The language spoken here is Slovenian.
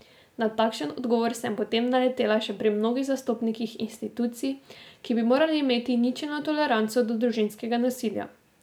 Na takšen odgovor sem potem naletela še pri mnogih zastopnikih institucij, ki bi morali imeti ničelno toleranco do družinskega nasilja.